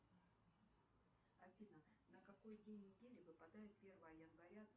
афина на какой день недели выпадает первое января